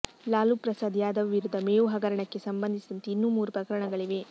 ಲಾಲೂ ಪ್ರಸಾದ್ ಯಾದವ್ ವಿರುದ್ಧ ಮೇವು ಹಗರಣಕ್ಕೆ ಸಂಬಂಧಿಸಿದಂತೆ ಇನ್ನೂ ಮೂರು ಪ್ರಕರಣಗಳಿವೆ